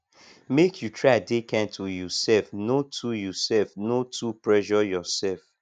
make you try dey kind to youself no too youself no too pressure yoursef